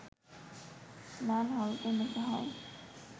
লাল হরফে লেখা হয়